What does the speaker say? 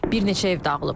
Bir neçə ev dağılıb.